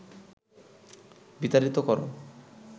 বিতাড়িত কর